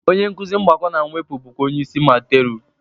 Onye nkuzi mgbakọ na mwepụ bụkwa onye isi madteru